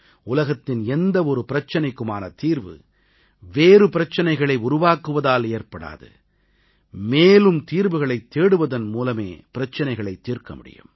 உலகத்தின் எந்த ஒரு பிரச்சனைக்குமான தீர்வு வேறு பிரச்சனைகளை உருவாக்குவதால் ஏற்படாது மேலும் தீர்வுகளைத் தேடுவதன் மூலமே பிரச்சனைகளைத் தீர்க்க முடியும்